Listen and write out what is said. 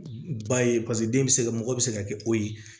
Ba ye paseke den bɛ se ka mɔgɔ bɛ se ka kɛ o ye